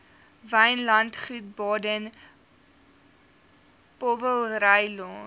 wynlandgoed baden powellrylaan